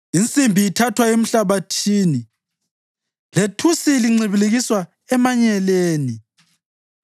Insimbi ithathwa emhlabathini, lethusi lincibilikiswa emanyeleni.